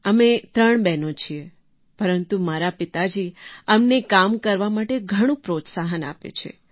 અમે ત્રણ બહેનો છીએ પરંતુ મારા પિતાજી અમને કામ કરવા માટે ઘણું પ્રોત્સાહન આપે છે